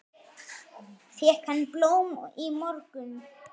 Fékk hann blóm í morgun?